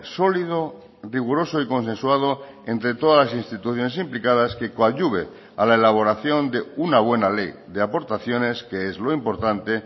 sólido riguroso y consensuado entre todas las instituciones implicadas que coadyuve a la elaboración de una buena ley de aportaciones que es lo importante